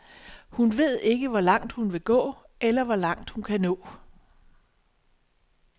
Hun ved ikke, hvor langt hun vil gå, eller hvor langt hun kan nå.